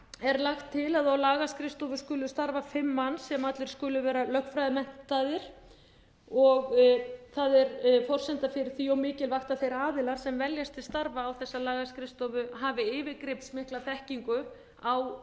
er lagt til að á lagaskrifstofu skulu starfa fimm manns sem allir skulu vera lögfræðimenntaðir það er forsenda fyrir því og mikilvægt að þeir aðilar sem veljast til starfa á þessa lagaskrifstofu hafi yfirgripsmikla þekkingu á